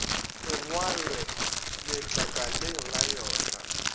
e ngwalwe letlakaleng la yona